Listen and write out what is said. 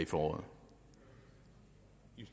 for